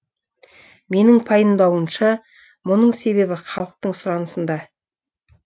менің пайымдауымша мұның себебі халықтың сұранысында